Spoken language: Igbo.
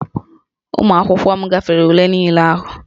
Ụmụ akwụkwọ m gafere ule niile ahụ